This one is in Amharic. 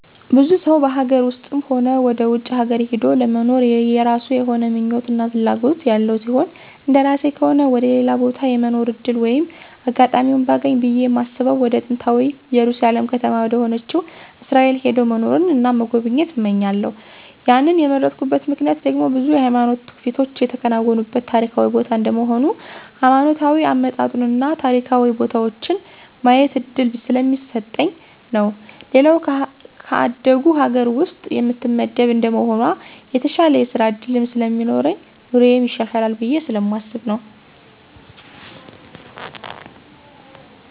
ብዙ ሰው በሀገር ውስጥም ሆነ ወደ ውጭ ሀገር ሂዶ ለመኖር የየራሱ የሆነ ምኞት እና ፍላጎት ያለው ሲሆን እንደራሴ ከሆነ ወደ ሌላ ቦታ የመኖር ዕድል ወይም አጋጣሚውን ባገኝ ብየ ማስበው ወደ ጥንታዊታ እየሩሳሌም ከተማ ወደሆነችው እስራኤል ሄዶ መኖርን እና መጎብኘት እመኛለሁ ያንን የመረጥኩበት ምክንያት ደግሞ ብዙ የሃይማኖት ትውፊቶች የተከናወኑበት ታሪካዊ ቦታ እንደመሆኑ ሀይማኖታዊ አመጣጡን እና ታሪካዊ ቦታዎችን የማየት እድል ስለሚሰጠኝ ነው። ሌላው ከአደጉ ሀገር ውስጥ የምትመደብ እንደመሆኗ የተሻለ የስራ ዕድልም ስለሚኖረኝ ኑሮየም ይሻሻላል ብየ ስለማስብ ነው።